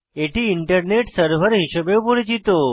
এটি internet server হিসাবেও পরিচিত